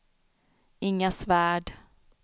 Inga Svärd